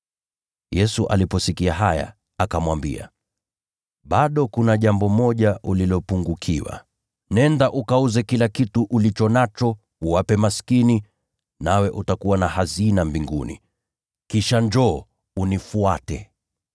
Yesu aliposikia haya, akamwambia, “Bado kuna jambo moja ulilopungukiwa. Nenda ukauze kila kitu ulicho nacho, uwape maskini, nawe utakuwa na hazina mbinguni. Kisha njoo, unifuate.”